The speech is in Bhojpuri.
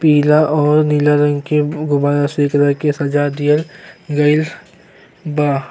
पीला और नीला रंग से गुब्बारा से एकरा के सजा दिहल गइल बा।